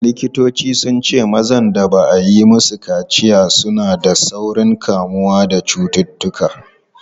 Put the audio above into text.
Likitoci sun ce mazan da ba a yi musu kaciya suna da saurin kamuwa da cututtuka.